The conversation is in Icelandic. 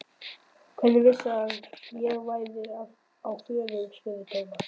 Hvernig vissirðu að ég væri á förum? spurði Thomas.